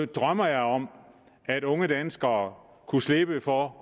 drømmer jeg om at unge danskere kunne slippe for